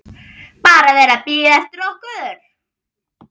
BARA VERIÐ AÐ BÍÐA EFTIR OKKUR!